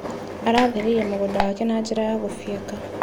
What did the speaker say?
Aratheririe mũgũnda wake na njĩra ya gũfieka.